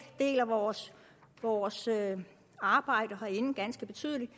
deler vores vores arbejde herinde ganske betydeligt